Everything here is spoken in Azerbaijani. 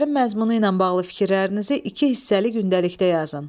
Əsərin məzmunu ilə bağlı fikirlərinizi iki hissəli gündəlikdə yazın.